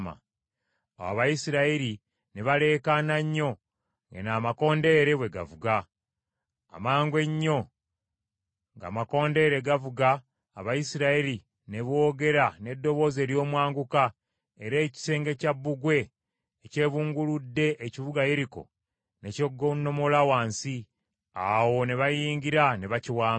Awo Abayisirayiri ne baleekaana nnyo, amakondeere bwe gaavuga. Amangu ennyo ng’amakondeere gakavuga Abayisirayiri ne boogera n’eddoboozi ery’omwanguka, era ekisenge kya bbugwe ekyebunguludde ekibuga Yeriko ne kyegonnomola wansi. Awo ne bayingira ne bakiwamba.